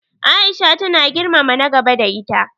Aisha tana girmama na gaba da ita.